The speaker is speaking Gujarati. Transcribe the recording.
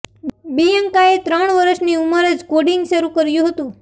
બિયંકાએ ત્રણ વર્ષની ઉંમર જ કોડિંગ શરૂ કર્યું હતું